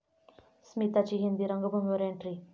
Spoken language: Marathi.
स्मिताची हिंदी रंगभूमीवर एंट्री